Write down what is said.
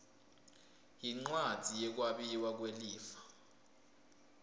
yincwadzi yekwabiwa kwelifa